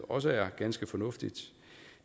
også er ganske fornuftigt